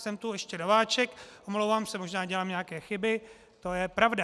Jsem tu ještě nováček, omlouvám se, možná dělám nějaké chyby, to je pravda.